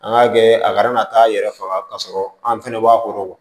An k'a kɛ a kana na taa yɛrɛ faga k'a sɔrɔ an fɛnɛ b'a kɔrɔ